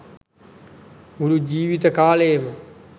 මුළු ජීවිත කාලයම